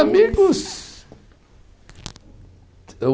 Amigos?